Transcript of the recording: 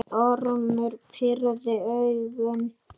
Ormur pírði augun.